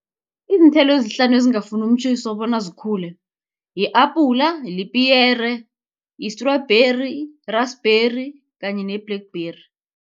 Iinthelo ezihlanu ezingafuni umtjhiso bona zikhule, yi-apula, lipiyere, yi-strubheri, yirasibheri kanye ne-blackberry.